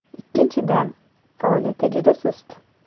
Ikkinchidan, faoliyati juda sust.